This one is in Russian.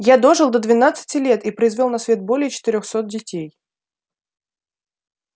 я дожил до двенадцати лет и произвёл на свет более четырёхсот детей